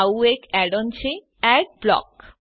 આવું એક add on છે એડબ્લોક